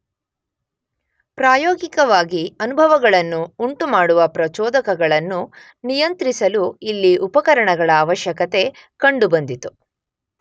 ಪ್ರಾಯೋಗಿಕವಾಗಿ ಅನುಭವಗಳನ್ನು ಉಂಟುಮಾಡುವ ಪ್ರಚೋದಕಗಳನ್ನು ನಿಯಂತ್ರಿಸಲು ಇಲ್ಲಿ ಉಪಕರಣಗಳ ಆವಶ್ಯಕತೆ ಕಂಡುಬಂದಿತು.